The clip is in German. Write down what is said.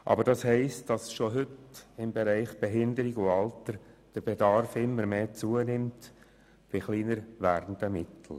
Aber schon heute steigt im Bereich Behinderung und Alter der Bedarf, bei kleiner werdenden Mitteln.